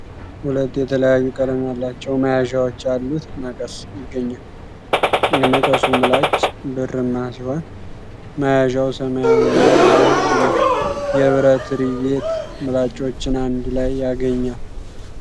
ሁለት የተለያዩ ቀለም ያላቸው መያዣዎች ያሉት መቀስ ይገኛል። የመቀሱ ምላጭ ብርማ ሲሆን፣ መያዣው ሰማያዊና ሮዝ ነው። የብረት ሪቬት ምላጮቹን አንድ ላይ ያገናኛል።